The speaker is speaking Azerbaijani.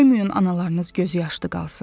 Qoymayın analarınız gözü yaşlı qalsın.